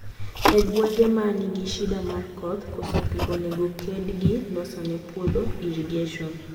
E gwenge ma nigi shida mar koth, koso pii onego ked gi loso ne puodho irrigation.